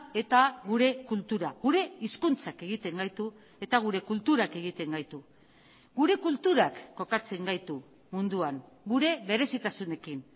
eta gure kultura gure hizkuntzak egiten gaitu eta gure kulturak egiten gaitu gure kulturak kokatzen gaitu munduan gure berezitasunekin